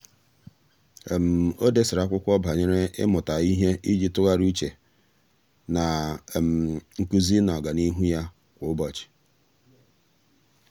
um ọ́ dèsara ákwụ́kwọ́ banyere ị́mụ́ta um ihe iji tụ́gharị́a úchè na um nkuzi na ọ́gànihu ya kwa ụ́bọ̀chị̀.